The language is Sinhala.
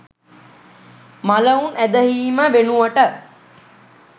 මළවුන් ඇදහීම වෙනුවට